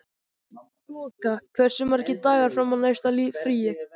Þoka, hversu margir dagar fram að næsta fríi?